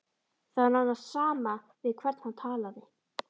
Það var nánast sama við hvern hann talaði.